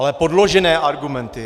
Ale podložené argumenty!